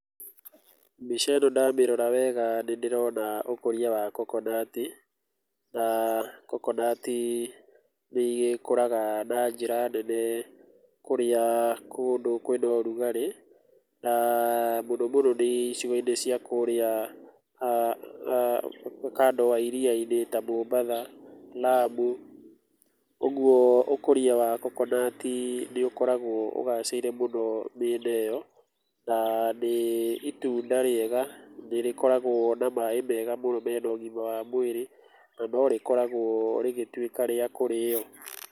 Mbica ĩno ndamĩrora wega nĩndĩrona ũkũria wa kokonati. Na kokonati nĩgĩkũraga na njĩra nene kũrĩa kũndũ kwĩna ũrugarĩ na mũno mũno nĩ icigoinĩ cia kũrĩa kando wa iriyainĩ ta Mombatha, Lamu. Ũguo ũkũrĩa wa kokonati nĩũkoragwo ũgacĩire mũno mĩena ĩyo. Nĩ itunda rĩega nĩrĩkoragwo na maaĩ mega mũno mena ũgima wa mwĩrĩ na no rĩkoragwo rĩgĩtuĩka rĩa kũrĩyo.